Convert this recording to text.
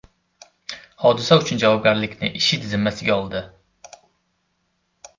Hodisa uchun javobgarlikni IShID zimmasiga oldi.